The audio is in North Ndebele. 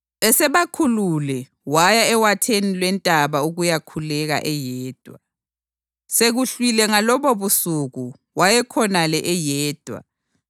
Esebakhulule, waya ewatheni lwentaba ukuyakhuleka eyedwa. Sekuhlwile ngalobobusuku wayekhonale eyedwa,